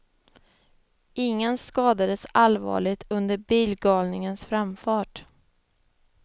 Ingen skadades allvarligt under bilgalningens framfart.